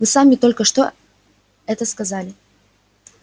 вы сами только что это сказали